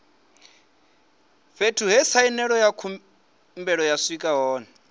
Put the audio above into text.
fhethu he khumbelo ya sainelwa hone